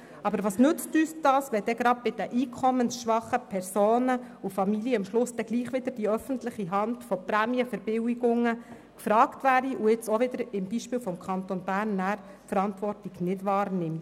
Doch was nützt uns das, wenn dann gerade bei den einkommensschwachen Personen und Familien am Schluss gleichwohl wieder die öffentliche Hand mit Prämienverbilligungen gefragt ist und sie dann, wie dies beim Kanton Bern der Fall ist, die Verantwortung nicht wahrnimmt?